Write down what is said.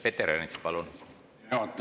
Peeter Ernits, palun!